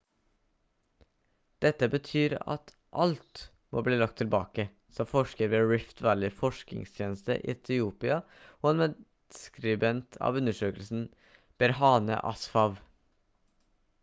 «dette betyr at alt må bli lagt tilbake» sa forsker ved rift valley forskningstjeneste i etiopia og en medskribent av undersøkelsen berhane asfaw